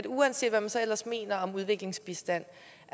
uanset hvad man så ellers mener om udviklingsbistand